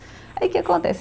Aí o que acontece?